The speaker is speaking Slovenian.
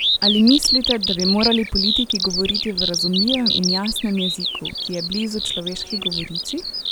Ali mislite, da bi morali politiki govoriti v razumljivem in jasnem jeziku, ki je blizu človeški govorici?